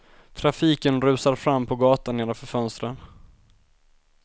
Trafiken rusar fram på gatan nedanför fönstren.